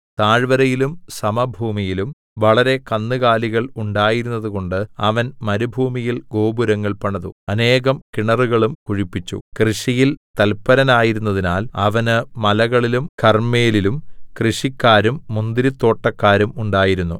താഴ്വരയിലും സമഭൂമിയിലും വളരെ കന്നുകാലികൾ ഉണ്ടായിരുന്നതുകൊണ്ട് അവൻ മരുഭൂമിയിൽ ഗോപുരങ്ങൾ പണിതു അനേകം കിണറുകളും കുഴിപ്പിച്ചു കൃഷിയിൽ തൽപ്പരനായിരുന്നതിനാൽ അവന് മലകളിലും കർമ്മേലിലും കൃഷിക്കാരും മുന്തിരിത്തോട്ടക്കാരും ഉണ്ടായിരുന്നു